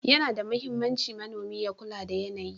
Yana da mahimmanci manomi ya kula da yanayi.